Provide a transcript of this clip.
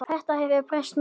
Þetta hefur breyst mjög.